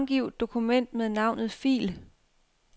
Navngiv dokument med navnet fil.